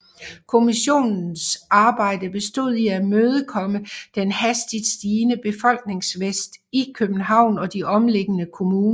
Kommissionens arbejde bestod i at imødekomme den hastigt stigende befolkningsvækst i København og de omkringliggende kommuner